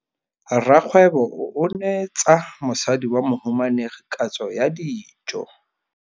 Rragwêbô o neetsa mosadi wa mohumanegi katsô ya dijô.